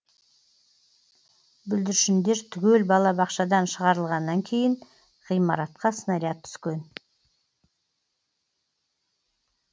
бүлдіршіндер түгел балабақшадан шығарылғаннан кейін ғимаратқа снаряд түскен